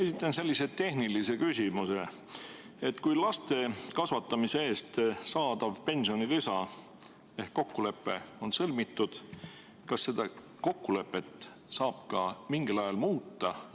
Esitan sellise tehnilise küsimuse: kui laste kasvatamise eest saadava pensionilisa kokkulepe on sõlmitud, siis kas seda kokkulepet saab ka mingil ajal muuta?